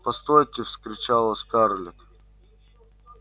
постойте вскричала скарлетт